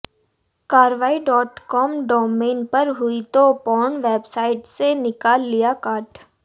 कार्रवाई dot com domain पर हुई तो पोर्न वेबसाइट्स ने निकाल लिया काट